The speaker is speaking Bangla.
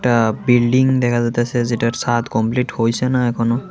আঃ বিল্ডিং দেখা যাইতাসে যেটার ছাদ কমপ্লিট হইসে না এখনও।